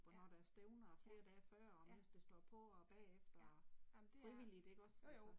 Og når der er stævner og flere dage før og mens det står på og bagefter og. Frivilligt ikke også altså